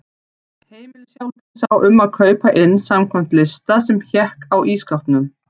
Heimilishjálpin sá um að kaupa inn samkvæmt lista sem hékk á ísskápnum.